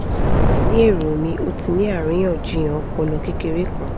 ni ero mi o ti ni ariyanjiyan ọpọlọ kekere kan